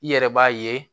I yɛrɛ b'a ye